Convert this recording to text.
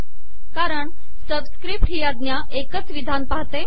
कारण सबिसकपट ही आजा एकच िवधान पहाते